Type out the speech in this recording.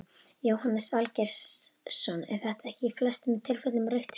Jóhannes Valgeirsson er þetta ekki í flestum tilfellum rautt spjald?